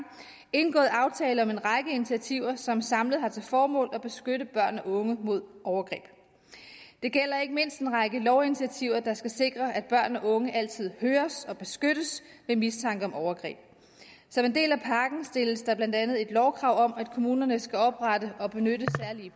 indgået aftaler om en række initiativer som samlet har til formål at beskytte børn og unge mod overgreb det gælder ikke mindst en række lovinitiativer der skal sikre at børn og unge altid høres og beskyttes ved mistanke om overgreb som en del af pakken stilles der blandt andet et lovkrav om at kommunerne skal oprette og benytte